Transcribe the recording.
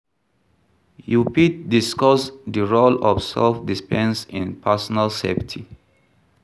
You fit discuss di role of self-defense in personal safety.